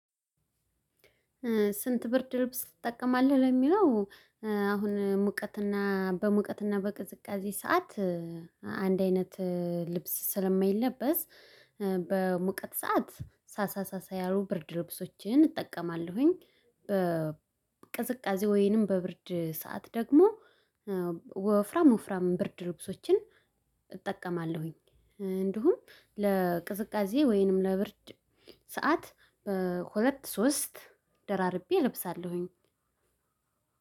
ስንት? ብርድ ልብስ ትጠቀማለህ ለሚለው አሁን ሙቀትና በሙቀትና በቅዝቃዜ ሰዓት አንድ አይነት ልብስ ስለማይለበስ። በሙቀት ሰዓት ሳሳ ሳሳ ያሉ ብርድ ልብሶችን እጠቀማለሁኝ። በቅዝቃዜ ወይንም በብርድ ሰዓት ደግሞ ወፍራም ወፍራም ብርድ ልብሶችን እጠቀማለሁኝ። እንዲሁም ለቅዝቃዜ ወይንም ለብርድ ሰዓት በሁለት ሶስት ደራርቤ እለብሳለሁኝ።